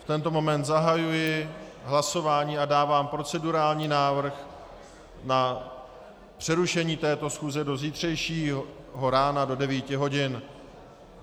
V tento moment zahajuji hlasování a dávám procedurální návrh na přerušení této schůze do zítřejšího rána do 9 hodin.